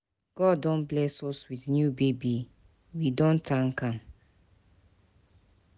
God don bless us wit new baby, we don tank am.